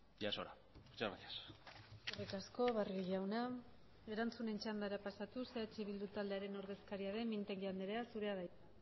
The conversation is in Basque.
ya es hora muchas gracias eskerrik asko barrio jauna erantzunen txandara pasatuz eh bildu taldearen ordezkaria den mintegi andrea zurea da hitza